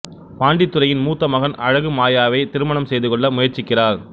பாண்டித்துரையின் மூத்த மகன் அழகு மாயாவைத் திருமணம் செய்து கொள்ள முயற்சிக்கிறார்